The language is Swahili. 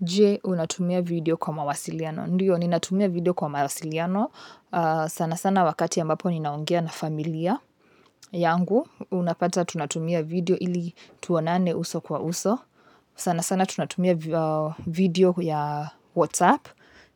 Je, unatumia video kwa mawasiliano? Ndiyo, ninatumia video kwa mawasiliano. Sana sana wakati ambapo ninaongea na familia yangu. Unapata tunatumia video ili tuonane uso kwa uso sana sana tunatumia video ya WhatsApp